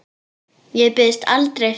Ég biðst aldrei fyrir.